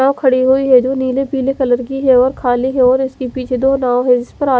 यहा खड़ी हुई है जो नील पीले कलर की है और खली है और इसके पीछे दो नाव है इसपर आदमी--